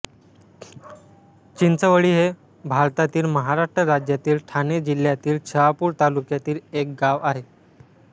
चिंचवळी हे भारतातील महाराष्ट्र राज्यातील ठाणे जिल्ह्यातील शहापूर तालुक्यातील एक गाव आहे